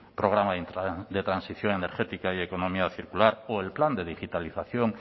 programa de transición energética y economía circular o el plan de digitalización